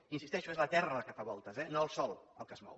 hi insisteixo és la terra la que fa voltes eh no el sol el que es mou